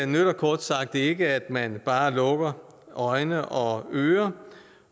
nytter kort sagt ikke at man bare lukker øjne og ører